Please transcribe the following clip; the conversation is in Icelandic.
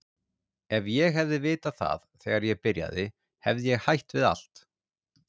Ef ég hefði vitað það þegar ég byrjaði hefði ég hætt við allt.